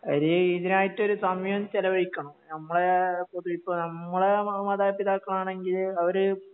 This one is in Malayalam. അവര് ഇതിനായിട്ടൊരു സമയം ചെലവഴിക്കണം നമ്മള് ഇതിപ്പം നമ്മളെ മാതാപിതാക്കളാണെങ്കില് അവര്